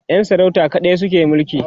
Yan sarauta kaɗai suke mulki